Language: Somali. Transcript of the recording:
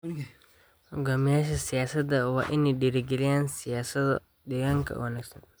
Hoggaamiyeyaasha siyaasadda waa in ay dhiirrigeliyaan siyaasado deegaanka oo wanaagsan.